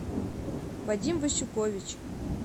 вадим васюкович